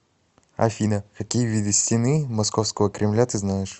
афина какие виды стены московского кремля ты знаешь